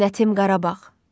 zinətim Qarabağ,